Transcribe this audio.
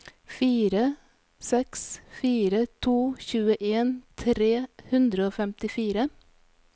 fire seks fire to tjueen tre hundre og femtifire